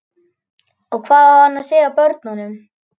Og hvað á hann að segja börnunum?